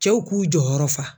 Cɛw k'u jɔyɔrɔ fa